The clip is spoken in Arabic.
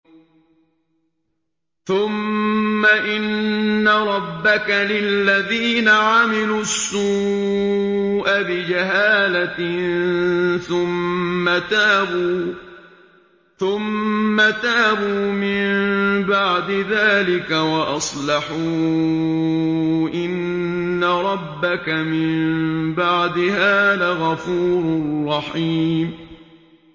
ثُمَّ إِنَّ رَبَّكَ لِلَّذِينَ عَمِلُوا السُّوءَ بِجَهَالَةٍ ثُمَّ تَابُوا مِن بَعْدِ ذَٰلِكَ وَأَصْلَحُوا إِنَّ رَبَّكَ مِن بَعْدِهَا لَغَفُورٌ رَّحِيمٌ